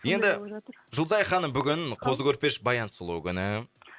енді жұлдызай ханым бүгін қозы көрпеш баянсұлу күні